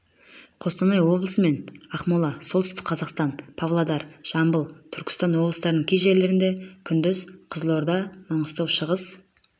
қостанай облысын мен ақмола солтүстік қазақстан павлодар жамбыл түркістан облыстарының кей жерлерінде күндіз қызылорда маңғыстау шығыс